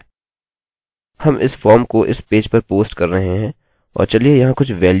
हम इस फॉर्म को इस पेज पर पोस्ट कर रहे हैं और चलिए यहाँ कुछ वेल्यूस बदलते हैं